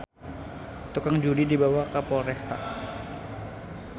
Tukang judi dibawa ka Polresta